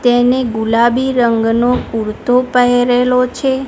તેને ગુલાબી રંગનો કુરતો પહેરેલો છે.